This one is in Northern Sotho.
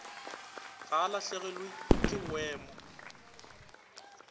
ga e lahlegelwe ke boemo